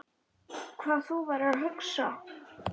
Hvað þú værir að hugsa.